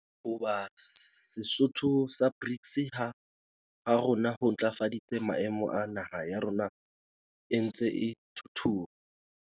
Ho ba setho sa BRICS ha rona ho ntlafaditse maemo a naha ya rona e ntseng e thuthuha.